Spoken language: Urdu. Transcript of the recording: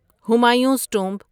ہمایوز ٹومب